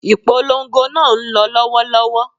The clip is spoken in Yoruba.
Ìpolongo náà ń lọ lọ́wọ́lọ́wọ́